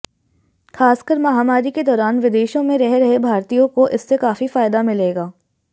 खासकर महामारी के दौरान विदेशों में रह रहे भारतीयों को इससे काफी फायदा मिलेगा